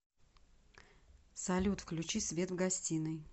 салют включи свет в гостиной